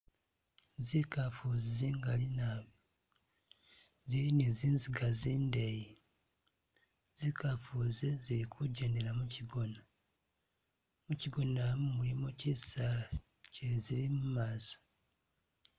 Zikaafu zi zingali naabi zili ni zinziga zindeyi zikaafu zi zili kujendela muchigona muchigona mu mulimo chisaali chizili mumaso.